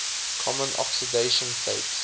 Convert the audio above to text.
common oxidation states